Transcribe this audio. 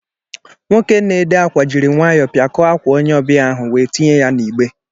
Nwoke n'édé ákwà jiri nwayọọ piakọ ákwà onye ọbịa áhù wéé tinye ya n'ịgbé